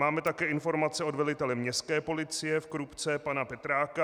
Máme také informace od velitele Městské policie v Krupce pana Petráka.